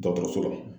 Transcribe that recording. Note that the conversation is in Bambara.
Dɔgɔtɔrɔso la